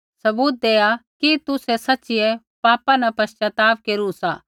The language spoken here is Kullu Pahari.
सबूत देआ कि तुसै सच़ीऐ पापा न पश्चाताप केरू सा